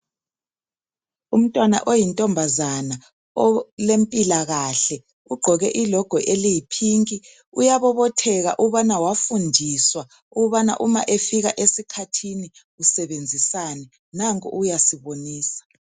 Umntwana oyintombazana, olempilakahle Ugqoke ilogwe eliyiphinki uyabobotheka ukubana wafundiswa ukubana uma efika esesikhathini usebenzisani, nanku uyasibonisa.